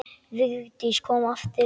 Vigdís kom aftur.